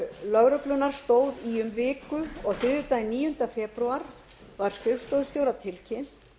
lögreglunnar stóð í um viku og þriðjudaginn níundi febrúar var skrifstofustjóra tilkynnt